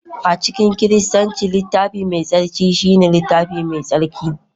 a cikin Kiristanci, Littafi Mai Tsarki shine littafinsu mai tsarki